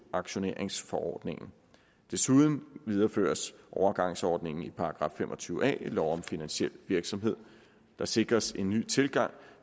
aktioneringsforordningen desuden videreføres overgangsordningen i § fem og tyve a i lov om finansiel virksomhed der sikres en ny tilgang